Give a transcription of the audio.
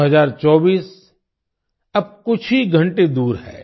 2024 अब कुछ ही घंटे दूर है